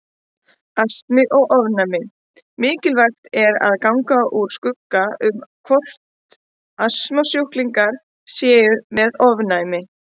Astmi og ofnæmi Mikilvægt er að ganga úr skugga um hvort astmasjúklingar séu með ofnæmi.